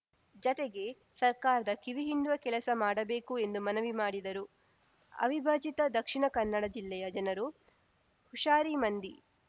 ಜತೆಗೆ ಸರ್ಕಾರದ ಕಿವಿ ಹಿಂಡುವ ಕೆಲಸ ಮಾಡಬೇಕು ಎಂದು ಮನವಿ ಮಾಡಿದರು ಅವಿಭಾಜಿತ ದಕ್ಷಿಣ ಕನ್ನಡ ಜಿಲ್ಲೆಯ ಜನರು ಹುಷಾರಿ ಮಂದಿ